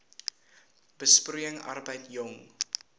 besproeiing arbeid jong